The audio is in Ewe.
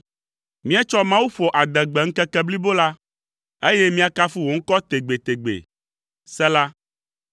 Míetsɔ Mawu ƒo adegbe ŋkeke blibo la, eye míakafu wò ŋkɔ tegbetegbe. Sela